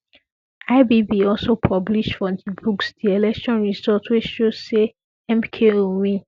ibb also publish for di books di election results wey show say mko win